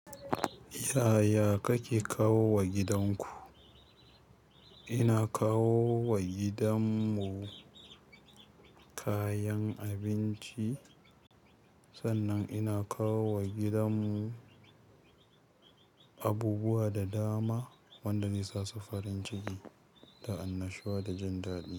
Yaya kake kawowa gidan ku? Ina kawo wa gidan mu kayan abinci, sannan ina kawo wa gidan mu abubuwa da dama wanda zai sa su farin ciki da annashuwa da jin daɗi.